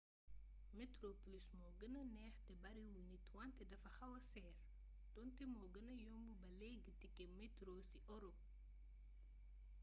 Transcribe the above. metroplus moo gëna neex te bariwul nit wante dafa xawaa seer doonte moo gëna yomb ba léegi tike metro ci ëropë